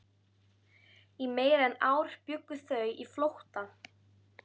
Í meira en ár bjuggu þau í flótta